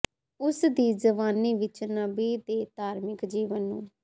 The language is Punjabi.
ਉਸ ਦੀ ਜਵਾਨੀ ਵਿਚ ਨਬੀ ਦੇ ਧਾਰਮਿਕ ਜੀਵਨ ਨੂੰ